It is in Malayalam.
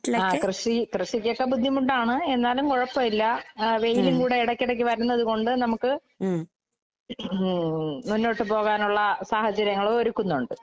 ആഹ് കൃഷി കൃഷിക്കൊക്കെ ബുദ്ധിമുട്ടാണ് എന്നാലും കൊഴപ്പമില്ല. ആഹ് വെയിലും കൂടെ എടയ്ക്കെടയ്ക്ക് വരണത് കൊണ്ട് നമുക്ക് ഉം മുന്നോട്ട് പോകാനൊള്ള സാഹചര്യങ്ങളും ഒരുക്കുന്നൊണ്ട്.